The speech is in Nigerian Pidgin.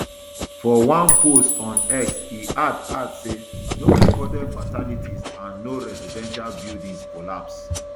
for one post on x e add add say no recorded fatalities and no residential buildings collapse